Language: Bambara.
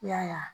I y'a ye